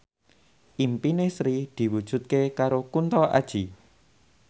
impine Sri diwujudke karo Kunto Aji